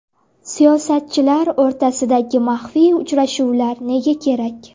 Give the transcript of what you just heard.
Siyosatchilar o‘rtasidagi maxfiy uchrashuvlar nega kerak?